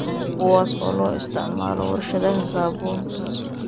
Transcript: kuwaas oo loo isticmaalo warshadaha saabuunta.